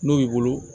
N'o y'i bolo